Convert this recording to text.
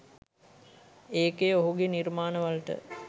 ඒකය ඔහුගෙ නිර්මාණවලට